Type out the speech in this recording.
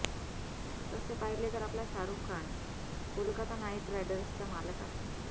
तसे पहिले तर आपला शाहरुख खान कोलकाता नाइट रायडर्सचा मालक आहे